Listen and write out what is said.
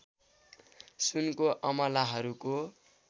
सुनको अमलाहरूको